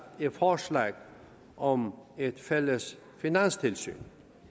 forslag om et fælles finanstilsyn